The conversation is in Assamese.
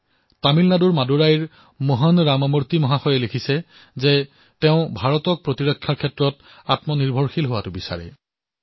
এইদৰে তামিলনাডুৰ মাডুৰাইৰ পৰা ৰামামূৰ্তিয়ে লিখিছে যে তেওঁ ভাৰতক প্ৰতিৰক্ষা খণ্ডত আত্মনিৰ্ভৰ হোৱাটো বিচাৰিছে